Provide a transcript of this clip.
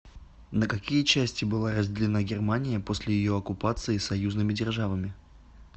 на какие части была разделена германия после ее оккупации союзными державами